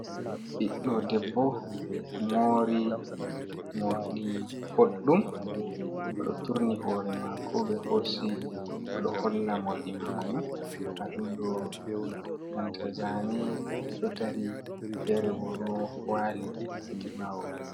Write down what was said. Ɓiɗdo debbo mori, morɗi boɗɗum, oɗo turni hoore maako, ɓe hosi oɗo holla morɗi maako man, nda ɗum ɗo banta zaane ɗo dari feere bo ɗo waali hedi ɓaawo.